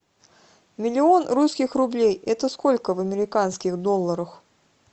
миллион русских рублей это сколько в американских долларах